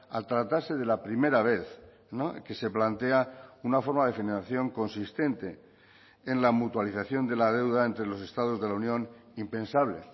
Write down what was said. al tratarse de la primera vez que se plantea una forma de generación consistente en la mutualización de la deuda entre los estados de la unión impensable